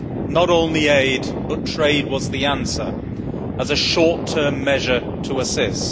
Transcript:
Not only aid but trade was the answer, as a short term measure to assist.